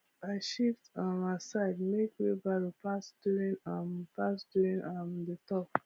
i shift um aside make wheelbarrow pass during um pass during um the tour